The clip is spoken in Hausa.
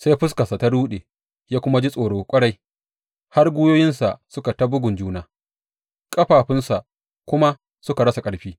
Sai fuskarsa ta ruɗe, ya kuma ji tsoro ƙwarai har gwiwoyinsa suka yi ta bugun juna, ƙafafunsa kuma suka rasa ƙarfi.